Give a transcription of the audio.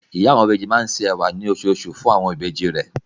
Ìyá àwọn ìbejì máa ń se ẹ̀wà ní oṣooṣù fún àwọn ìbejì rẹ̀.